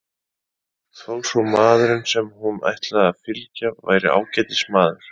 Þó svo maðurinn sem hún ætlaði að fylgja væri ágætis maður.